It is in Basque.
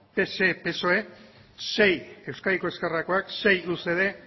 pse psoe sei euskadiko ezkerrakoak sei ucd